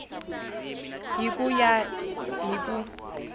hi ku ya hi ku